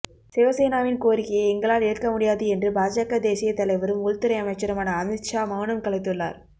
சிவசேனாவின் கோரிக்கையை எங்களால் ஏற்க முடியாது என்று பாஜக தேசியத் தலைவரும் உள்துறை அமைச்சருமான அமித் ஷா மவுனம் கலைத்துள்ளார்